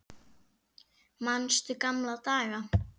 Manstu gamla daga?